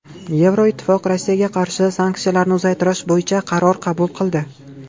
Yevroittifoq Rossiyaga qarshi sanksiyalarni uzaytirish bo‘yicha qaror qabul qildi.